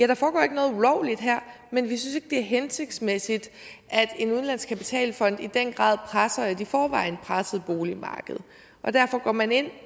der foregår ikke noget ulovligt her men vi synes ikke det er hensigtsmæssigt at en udenlandsk kapitalfond i den grad presser et i forvejen presset boligmarked derfor går man ind